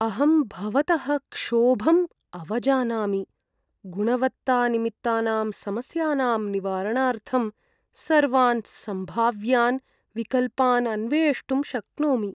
अहं भवतः क्षोभम् अवजानामि, गुणवत्तानिमित्तानां समस्यानां निवारणार्थं सर्वान् सम्भाव्यान् विकल्पान् अन्वेष्टुं शक्नोमि।